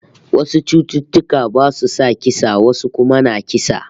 Wasu cututtuka basu sa kisa, wasu kuma na kisa